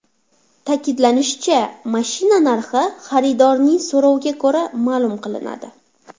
Ta’kidlanishicha, mashina narxi xaridorning so‘roviga ko‘ra, ma’lum qilinadi.